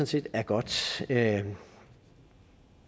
set er godt jeg